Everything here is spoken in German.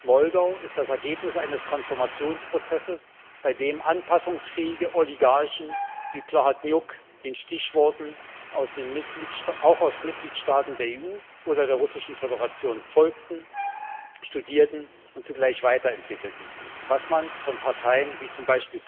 Moldau ist das Ergebnis eines Transformationsprozesses, bei dem anpassungsfähige Oligarchen wie Plahotniuc den Stichworten auch aus Mitgliedstaaten der EU oder der Russischen Föderation folgten, studierten und zugleich weiterentwickelten, was man von Parteien wie z.